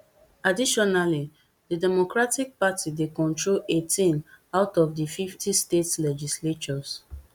additionally di democratic party dey control eighteen out of di fifty state legislatures